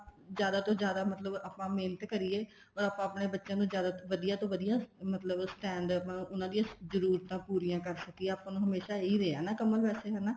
ਜਿਆਦਾ ਤੋਂ ਜਿਆਦਾ ਆਪਾਂ ਮਤਲਬ ਮਿਹਨਤ ਕਰੀਏ ਆਪਾਂ ਆਪਣੇ ਬੱਚਿਆਂ ਨੂੰ ਵਧੀਆ ਤੋਂ ਵਧੀਆ ਮਤਲਬ stand ਉਹਨਾ ਦੀ ਜ਼ਰੂਰਤਾਂ ਪੂਰੀਆਂ ਕਰ ਸਕੀਏ ਆਪਾਂ ਨੂੰ ਹਮੇਸ਼ਾ ਇਹੀ ਰਿਹਾ ਕਮਲ ਵੈਸੇ ਹਨਾ